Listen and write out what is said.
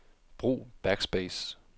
Brug backspace.